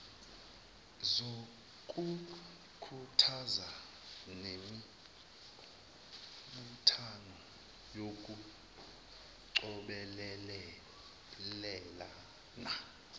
zokukhuthaza nemibuthano yokucobelelana